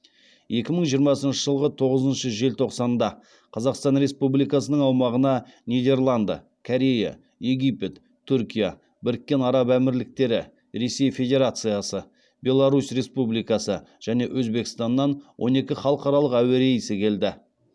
екі мың жиырмасыншы жылғы тоғызыншы желтоқсанда қазақстан республикасының аумағына нидерланды корея египет түркия біріккен араб әмірліктері ресей федерациясы беларусь республикасы және өзбекстаннан он екі халықаралық әуе рейсі келді